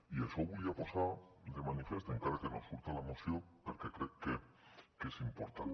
i això ho volia posar de manifest encara que no surt a la moció perquè crec que és important